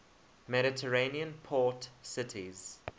mediterranean port cities